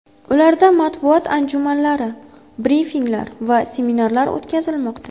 Ularda matbuot anjumanlari, brifinglar va seminarlar o‘tkazilmoqda.